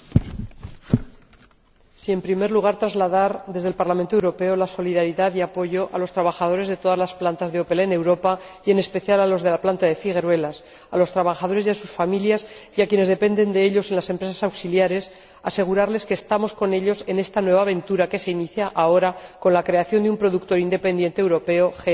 Señora Presidenta, en primer lugar quiero trasladar, desde el Parlamento Europeo, la solidaridad y el apoyo a los trabajadores de todas las plantas de Opel en Europa y, en especial, a los de la planta de Figueruelas a los trabajadores y a sus familias, y a quienes dependen de ellos en las empresas auxiliares asegurarles que estamos con ellos en esta nueva aventura que se inicia ahora con la creación de un productor independiente europeo, GM Europa.